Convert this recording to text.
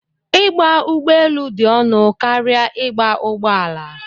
Ịgba ụgbọelu dị ọnụ karịa ịgba ụgbọala.